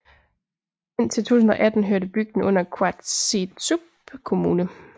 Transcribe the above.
Indtil 2018 hørte bygden under Qaasuitsup Kommune